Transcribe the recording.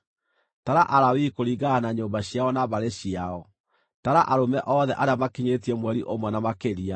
“Tara Alawii kũringana na nyũmba ciao na mbarĩ ciao. Tara arũme othe arĩa makinyĩtie mweri ũmwe na makĩria.”